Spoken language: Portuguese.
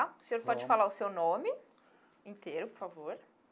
O senhor pode falar o seu nome inteiro, por favor.